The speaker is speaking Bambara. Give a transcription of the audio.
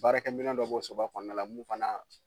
Baarakɛminɛ dɔ b'o soba kɔnɔna la mun fana